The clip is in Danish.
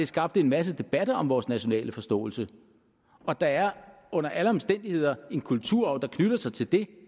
skabte en masse debatter om vores nationale forståelse og der er under alle omstændigheder en kulturarv der knytter sig til det